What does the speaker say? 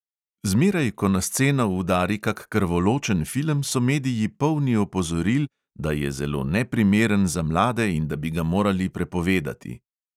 Zmeraj, ko na sceno udari kak krvoločen film, so mediji polni opozoril, da je zelo neprimeren za mlade in da bi ga morali prepovedati.